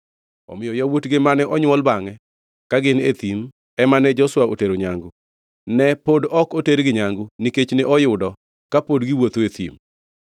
Omiyo yawuotgi mane onywol bangʼe ka gin e thim ema ne Joshua otero nyangu. Ne pod ok otergi nyangu nikech ne oyudo kapod giwuotho e thim.